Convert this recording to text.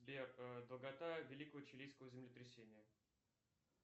сбер долгота великого чилийского землетрясения